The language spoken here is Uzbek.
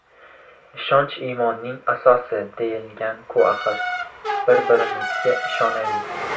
Ishonch iymonning asosi, deyilganku axir, bir-birimizga ishonaylik.